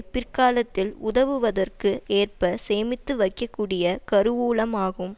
பிற்காலத்தில் உதவுவதற்கு ஏற்ப சேமித்து வைக்கக்கூடிய கருவூலமாகும்